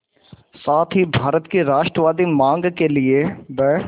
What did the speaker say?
साथ ही भारत की राष्ट्रवादी मांग के लिए ब्